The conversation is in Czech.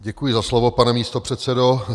Děkuji za slovo, pane místopředsedo.